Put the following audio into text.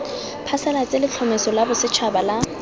phasalatse letlhomeso la bosetšhaba la